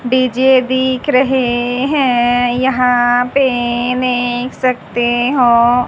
DJ दिख रहे हैं यहां पे देख सकते हो।